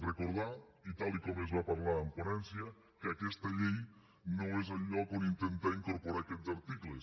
recordar i tal com es va parlar en ponència que aquesta llei no és el lloc on intentar incorporar aquests articles